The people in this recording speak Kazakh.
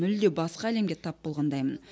мүлде басқа әлемге тап болғандаймын